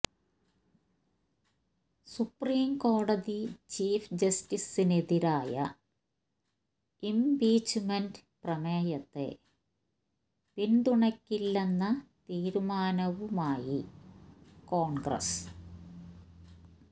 supreme കോടതി chief ജസ്റ്റിസിനെതിരായ impeachment പ്രമേയത്തെ പിന്തുണയ്ക്കില്ലന്ന തീരുമാനവുമായി കോണ്ഗ്രസ്